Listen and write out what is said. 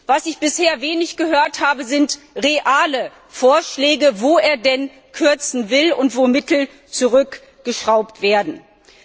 Was ich bisher wenig gehört habe, sind reale Vorschläge, wo er denn kürzen will und wo Mittel zurückgeschraubt werden sollen.